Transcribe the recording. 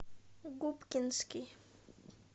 губкинский